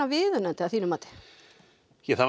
viðunandi að þínu mati það má